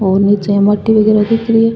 और नीचे माटी वगेरा दिख री है।